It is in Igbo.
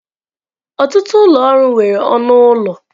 Ọtụtụ ụlọ ọrụ nwere ọnụ ụlọ.